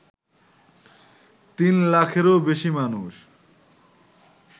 তিন লাখেরও বেশি মানুষ